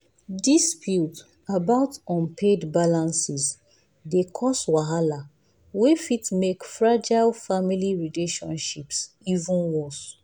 disputes about unpaid balances dey cause wahala wey fit make fragile family relationships even worse.